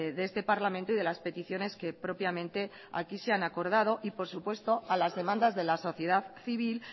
de este parlamento y de las peticiones que propiamente aquí se han acordado y por supuesto a las demandas de la sociedad civil